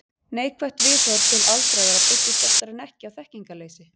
Neikvætt viðhorf til aldraðra byggist oftar en ekki á þekkingarleysi.